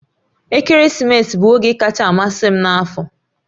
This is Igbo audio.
Ekeresimesi bụ oge kacha amasị m n'afọ